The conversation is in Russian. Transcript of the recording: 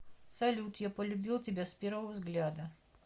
салют я полюбил тебя с первого взгляда